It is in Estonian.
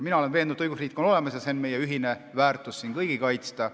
Mina olen veendunud, et õigusriik on olemas, ja see on meie ühine väärtus, mida tuleb siin kõigil kaitsta.